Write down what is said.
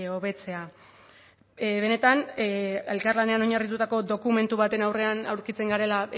hobetzea benetan elkarlanean oinarritutako dokumentu baten aurrean aurkitzen garela